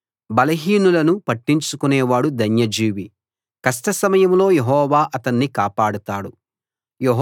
బలహీనులను పట్టించుకునే వాడు ధన్యజీవి కష్ట సమయంలో యెహోవా అతణ్ణి కాపాడతాడు